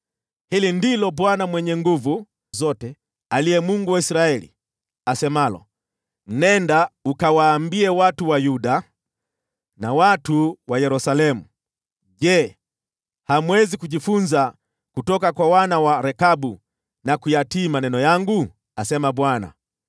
“Hili ndilo Bwana Mwenye Nguvu Zote, aliye Mungu wa Israeli, asemalo: Nenda ukawaambie watu wa Yuda na watu wa Yerusalemu, ‘Je, hamwezi kujifunza kutoka kwa wana wa Rekabu, na kuyatii maneno yangu?’ asema Bwana .